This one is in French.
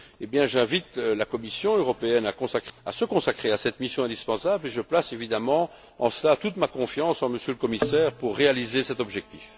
Et bien, j'invite la Commission européenne à se consacrer à cette mission indispensable et je place évidemment en cela toute ma confiance en Monsieur le commissaire pour réaliser cet objectif.